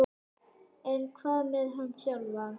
En hvað með hann sjálfan?